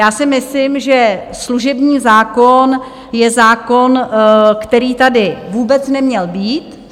Já si myslím, že služební zákon je zákon, který tady vůbec neměl být.